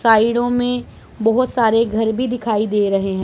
साइडों में बहोत सारे घर भी दिखाई दे रहे हैं।